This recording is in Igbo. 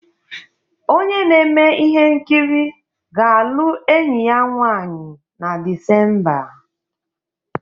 Onye na-eme ihe nkiri ga-alụ enyi ya nwanyị na Disemba.